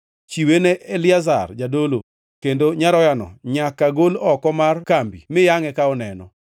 Chiwe ne Eliazar jadolo; kendo nyaroyano nyaka gol oko mar kambi mi yangʼe ka oneno.